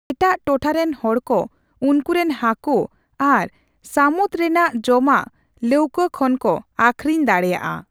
ᱮᱴᱟᱜ ᱴᱚᱴᱷᱟ ᱨᱮᱱ ᱦᱚᱲ ᱠᱚ ᱩᱱᱠᱩᱨᱮᱱ ᱦᱟᱹᱠᱩ ᱟᱨ ᱥᱟᱹᱢᱩᱫ ᱨᱮᱱᱟᱜ ᱡᱚᱢᱟᱜ ᱞᱳᱶᱠᱟᱹ ᱠᱷᱚᱱ ᱠᱚ ᱟᱠᱷᱨᱤᱧ ᱫᱟᱲᱮᱭᱟᱜᱼᱟ ᱾